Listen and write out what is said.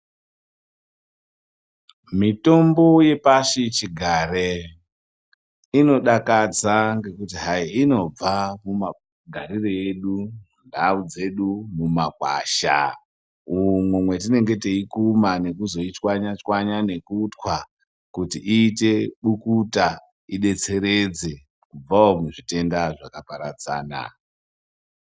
Mitombo yepashi chigare inodakadza ngekuti hai inobva mumagarire edu ndau dzedu mumagwasha umwo mwetinenge teikuma nekuzoichwanyachwanya nekutwa kuti ite mubukuta idetseredze kubvawo muzvitenda zvakaparadzana.